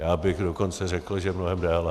Já bych dokonce řekl, že mnohem déle.